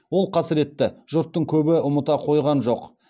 ол қасіретті жұрттың көбі ұмыта қойған жоқ